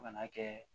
Fo ka n'a kɛ